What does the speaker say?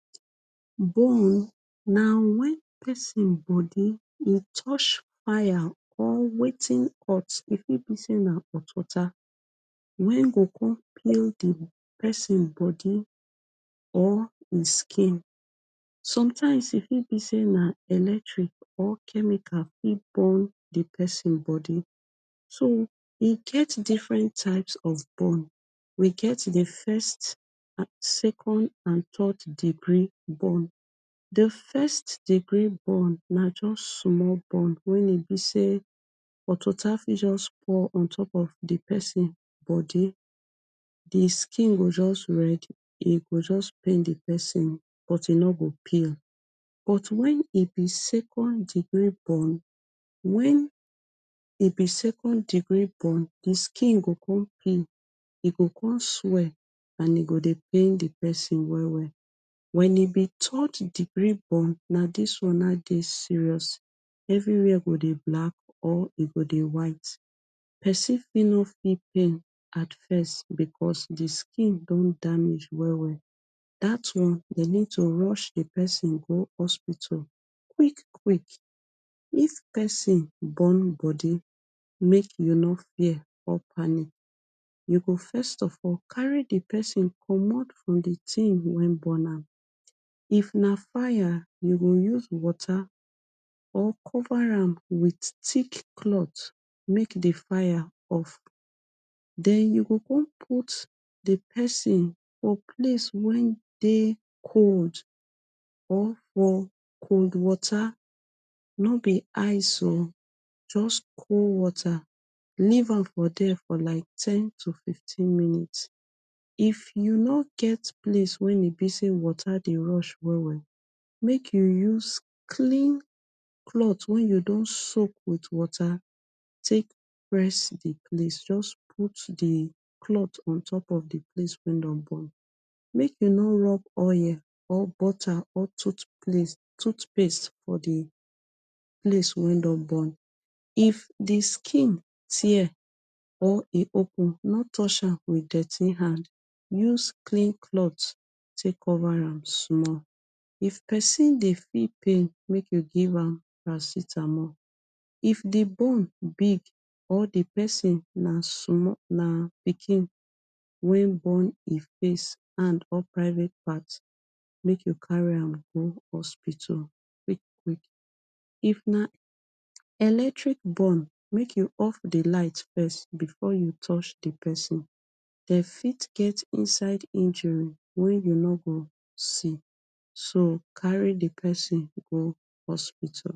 bone na wen pesin bodi e touch wire or wetin hot e fit be say na otwater wen dey go come peel pesin bodi or him skin sometimes e fit be say na electric or chemical e burn di pesin body so e get different types of burn we get di first second and third deree burn di first degree burn na just small burn wen e be say otwater fit just pour untop of di pesin bodi di skin go just red e go just pain di pesin but e no go peel but wen e be say second degree burn wen e be second degree burn di skin go come peel and e go come swell and e go dey pain di pesin well well wen e bi third degree burn na dis one na dey serious everywhere go dey black or e go dey white pesin fit no feel pain at first becos di skin don damage well well day on dey need to rush di pesin go hospital quick quick if pesin burn body make you no fear or panic you go first of all carry di pesin comot from di tin way burn am if na fire you go use water or cover am wit thick clothe make di fire off den you go come put di pesin for place wen dey cold or for cold water no bi ice o just cold water leave am for there like ten to fifteen minutes if you no get place wey be like say water dey rush well well make you use clean clothe wen you don soak wit water take press di place just put di cloth on top di place way don burn make de no rob oil or butter or toot place toothpaste for di place way don burn if di skin tear or e open no touche am wit dirty hand use clean cloth take cover am small if pesin dey feel pain make you am paracetamol if di bone big or di pesin na small na pikin way burn e face or private part make you carry am go hospital quick quick if na electric burn make you off di light first before you touche di pesin dey fit get inside injury wen you no go see so carry di pesin go hospital